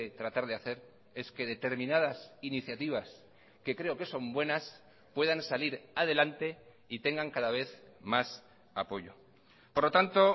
tratar de hacer es que determinadas iniciativas que creo que son buenas puedan salir adelante y tengan cada vez más apoyo por lo tanto